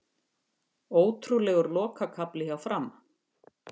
Ótrúlegur lokakafli hjá Fram